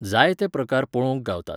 जायते प्रकार पळोवंक गावतात.